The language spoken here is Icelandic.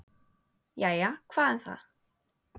"""Jæja, hvað um það."""